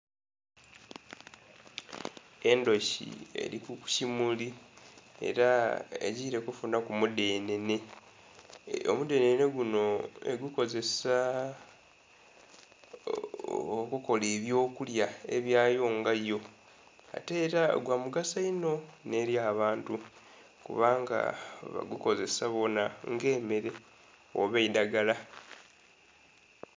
Endhuki eri kukimuli era egiire kufunhaku mudhenhenhe, omudhenhenhe guno egukozesa okukola eby'okulya ebyayo nga yo, ate era gwa mugaso inho n'eri abantu kubanga bagukozesa boona nga emmere oba eidhagala.